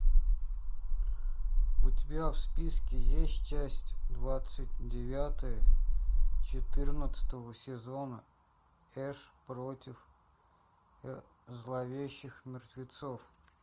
у тебя в списке есть часть двадцать девятая четырнадцатого сезона эш против зловещих мертвецов